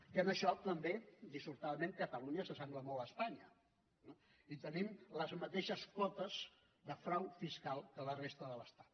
que en això també dissortadament catalunya s’assembla molt a espanya no i tenim les mateixes potes de frau fiscal que la resta de l’estat